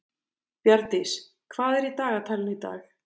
Bjarndís, hvað er í dagatalinu í dag?